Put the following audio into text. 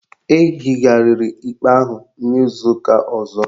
Ehigharịrị ikpe ahụ n'izu ụka ọzọ